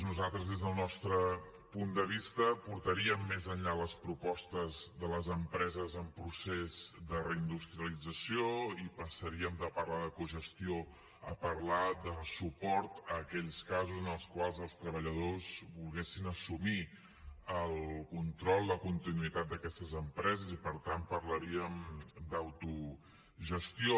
nosaltres des del nostre punt de vista portaríem més enllà les propostes de les empreses en procés de reindustrialització i passaríem de parlar de cogestió a parlar de suport a aquells casos en els quals els treballadors volguessin assumir el control la continuïtat d’aquestes empreses i per tant parlaríem d’autogestió